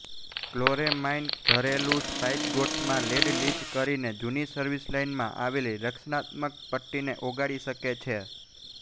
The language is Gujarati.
ક્લોરેમાઇન ઘરેલું સ્પાઇગોટ્સમાં લેડ લીચ કરીને જૂની સર્વિસ લાઇનમાં આવેલી રક્ષણાત્મક પટ્ટીને ઓગાળી શકે છે